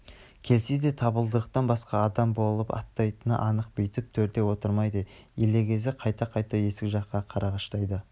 келсе де табалдырықтан басқа адам болып аттайтыны анық бүйтіп төрде отырмайды елегізіп қайта-қайта есік жаққа қарағыштайды